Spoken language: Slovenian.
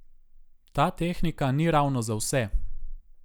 Ta tehnika ni ravno za vse.